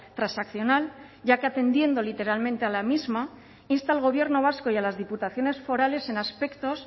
transaccional ya que atendiendo literalmente a la misma insta al gobierno vasco y a las diputaciones forales en aspectos